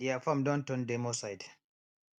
deir farm don turn demo site